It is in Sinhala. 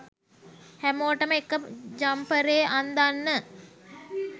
හැමෝටම එක ජම්පරේ අන්දන්න